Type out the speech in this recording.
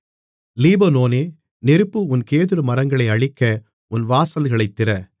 லீபனோனே நெருப்பு உன் கேதுருமரங்களை அழிக்க உன் வாசல்களைத் திற